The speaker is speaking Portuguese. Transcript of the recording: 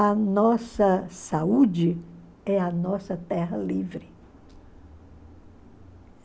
A nossa saúde é a nossa terra livre.